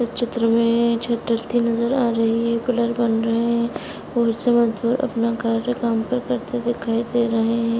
इस चित्र में छत ढलती नजर आ रही है। पिलर बन रहे हैं। अपना घर दिखाई दे रहे हैं।